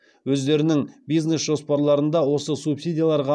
өздерінің бизнес жоспарларында осы субсидияларға